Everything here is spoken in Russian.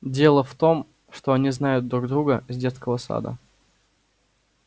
дело в том что они знают друг друга с детского сада